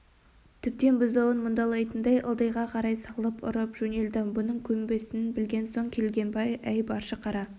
тіптен бұзауын мұндалайтындай ылдиға қарай салып ұрып жөнелді мұның көнбесін білген соң келгенбай әй баршы қара